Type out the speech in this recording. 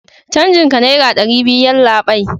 canjin ka naira dari biyu yallabai